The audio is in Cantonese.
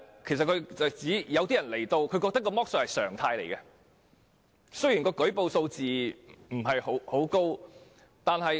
他的意思是有些來港人士認為剝削是常態，舉報數字因而不高。